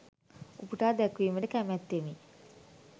උපුටා දැක්වීමට කැමැත්තෙමි.